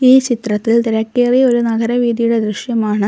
ഈ ചിത്രത്തിൽ തിരക്കേറിയ ഒരു നഗരവീതിയുടെ ദൃശ്യമാണ്.